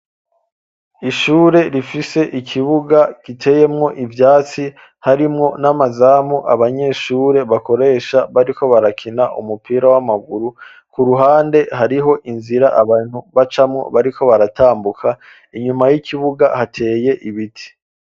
Ishure rifise ikibuga giteyemwo ivyatsi harimwo n'amazamu abanyeshure bakoresha bariko barakina umupira w'amaguru, ku ruhande hariho inzira abantu bacamwo bariko baratambuka, inyuma y'ikibuga hateye ibiti.